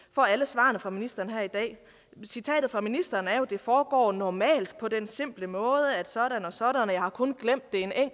får alle svarene fra ministeren her i dag citatet fra ministeren er jo at det foregår normalt på den simple måde at sådan og sådan og jeg har kun glemt